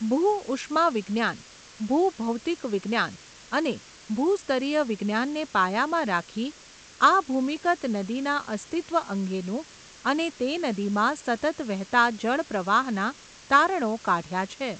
ભૂ ઉષ્મા વિજ્ઞાન, ભૂ ભૌતિક વિજ્ઞાન અને ભૂસ્તરીય વિજ્ઞાનને પાયામાં રાખી, આ ભૂમિગત નદીના અસ્તિત્ત્વ અંગેનું, અને તે નદીમાં સતત વહેતા જળપ્રવાહના તારણો કાઢ્યા છે.